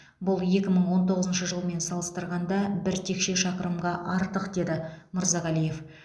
бұл екі мың он тоғызыншы жылмен салыстырғанда бір текше шақырымға артық деді мырзағалиев